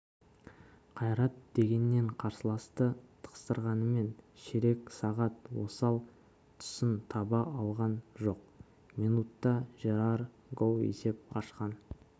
қайрат дегеннен қарсыласты тықсырғанмен ширек сағат осал тұсын таба алған жоқ минутта жерар гоу есеп ашқан